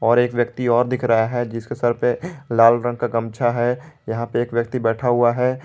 और एक व्यक्ति और दिख रहा है जिसके सर पर लाल रंग का गमछा है यहां पे एक व्यक्ति बैठा हुआ है।